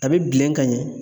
A bɛ bilen ka ɲɛ.